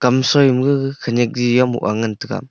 kom soima gaga khanyak ji mohga ngantaga.